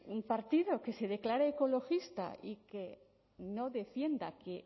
un partido que se declare ecologista y que no defienda que